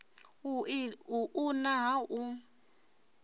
u u una ha u